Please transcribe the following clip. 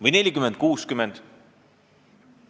Või 40 : 60?